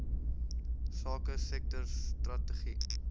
sake sektor strategie